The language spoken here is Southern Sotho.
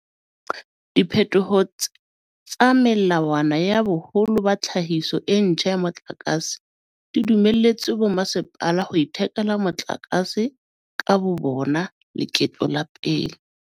Diphetoho tsa melawana ya boholo ba tlhahiso e ntjha ya motlakase di dumelletse bommasepala ho ithekela motlakase ka bobona leketlo la pele.